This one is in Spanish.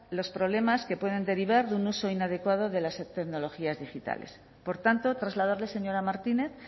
los problemas que pueden derivar de un uso inadecuado de las tecnologías digitales por tanto trasladarle señora martinez